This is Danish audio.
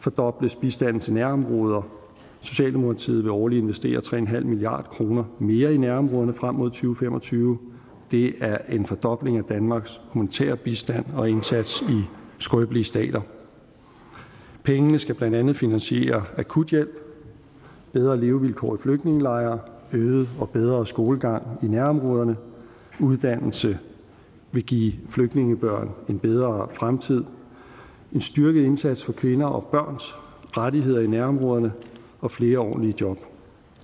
fordobles bistanden til nærområder socialdemokratiet vil årligt investere tre milliard kroner mere i nærområderne frem mod to fem og tyve det er en fordobling af danmarks humanitære bistand og indsats i skrøbelige stater pengene skal blandt andet finansiere akuthjælp bedre levevilkår flygtningelejre øget og bedre skolegang i nærområderne for uddannelse vil give flygtningebørn en bedre fremtid en styrket indsats for kvinder og børns rettigheder i nærområderne og flere ordentlige job